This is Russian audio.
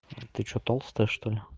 ты что толстая что ли